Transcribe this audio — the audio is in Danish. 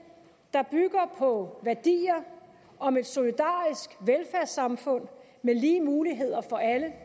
der bygger på værdier om et solidarisk velfærdssamfund med lige muligheder for alle